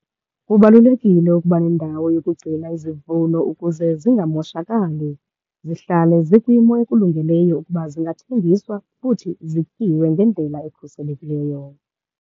Kubalulekile ukuba nendawo yokugcina izivuno ukuze zingamoshakali, zihlale zikwimo ekulungeleyo ukuba zingathengiswa futhi zityiwe ngendlela ekhuselekileyo.